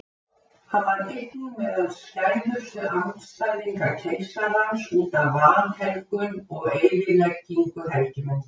Hann var einnig meðal skæðustu andstæðinga keisarans útaf vanhelgun og eyðileggingu helgimynda.